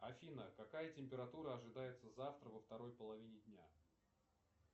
афина какая температура ожидается завтра во второй половине дня